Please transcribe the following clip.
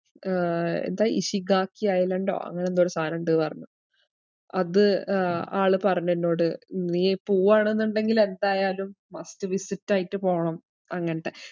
ഏർ എന്താ ഇഷിഗാക്കി ഐലൻഡോ അങ്ങനെ എന്തോ ഒര് സാനോണ്ട്ന്ന് പറഞ്ഞു. അത് ആള് പറഞ്ഞെന്നോട്. നീ പോവ്വാണെന്നുണ്ടങ്കിൽ എന്തായാലും must visit ആയിട്ട് പോണം അങ്ങത്തെ